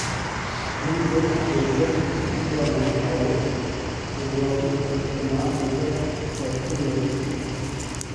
"Miten agenge nekitikonon awee kirwokik kotko mamukaak ortunweek tukul."